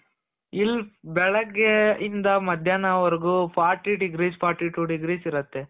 ಇಲ್ಲಿ ಬೆಳಗ್ಗೆ ಇಂದ ಮಧ್ಯಾನ ವರ್ಗು fourty degrees fourty two degrees ಇರುತ್ತೆ.